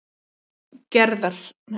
Gerðar